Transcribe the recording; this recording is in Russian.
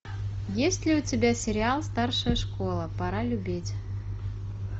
есть ли у тебя сериал старшая школа пора любить